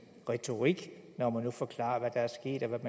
retorik når man nu forklarer hvad der er sket og hvad